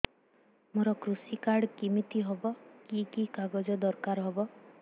ମୋର କୃଷି କାର୍ଡ କିମିତି ହବ କି କି କାଗଜ ଦରକାର ହବ